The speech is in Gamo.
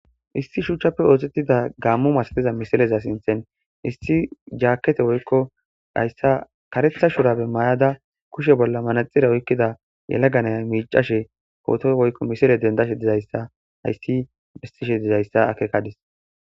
issi shuuchchappe oosettida gaammo masatiza misileza sinthen isti jaakkete woykko hayssa karetha shurabe mayada kushe bolla manaxxire oykkida yalaga nayiya miiccashe pooto woykko misile denddashe dizayssa hayssi bessishe dizayssa akeekadis.